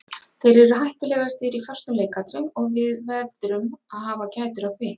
Þeir eru hættulegastir í föstum leikatriðum og við veðrum að hafa gætur á því.